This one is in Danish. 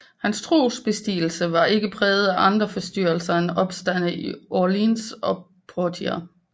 Hans tronbestigelse var ikke præget af andre forstyrrelser end opstande i Orléans og Poitiers